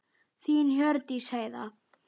Þín Hjördís Heiða.